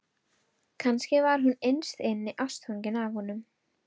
Kannski var hún innst inni ástfangin af honum.